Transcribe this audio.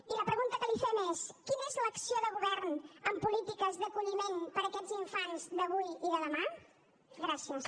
i la pregunta que li fem és quina és l’acció de govern en polítiques d’acolliment per a aquests infants d’avui i de demà gràcies